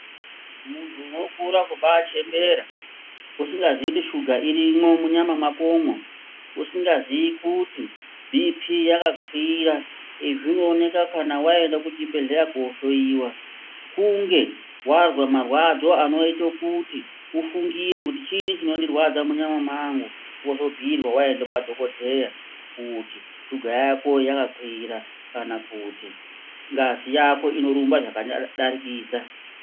Muntu unokura kumba chembera usingazi kuti suga irimwo munyama mwakomwo usingazi kuti bhipi yakakwira izvi zvinoonekwa kana waenda kuchibhehleya kohloiwa kunge wazwa marwadzo anoite kuti ufungire kuti chini chinondirwadza munyama mwangu wozobhuirwa waende kwa dhokodheya kuti suga yako yakakwira kana kuti ngazi yako inorumba zvakadarikidza.